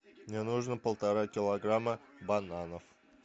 мне нужно полтора килограмма бананов